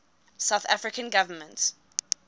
south african government